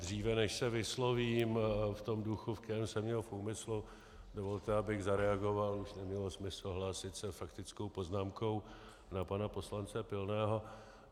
Dříve než se vyslovím v tom duchu, ve kterém jsem měl v úmyslu, dovolte, abych zareagoval, už nemělo smysl hlásit se faktickou poznámkou, na pana poslance Pilného.